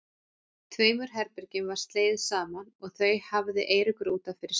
Tveimur herbergjum var slegið saman og þau hafði Eiríkur út af fyrir sig.